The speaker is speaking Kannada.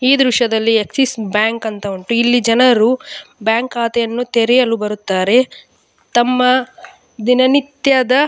ಈ ದೃಶ್ಯದಲ್ಲಿ ಆಕ್ಸಿಸ್ ಬ್ಯಾಂಕ್ ಅಂತ ಉಂಟು ಇಲ್ಲಿ ಜನರು ಬ್ಯಾಂಕ್ ಖಾತೆಯನ್ನು ತೆರೆಯಲು ಬರುತ್ತಾರೆ ತಮ್ಮ ದಿನ ನಿತ್ಯದ --